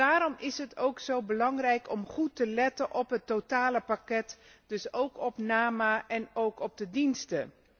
Daarom is het ook zo belangrijk om goed te letten op het totale pakket, dus ook op NAMA en op de diensten.